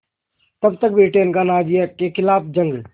तब तक ब्रिटेन का नाज़ियों के ख़िलाफ़ जंग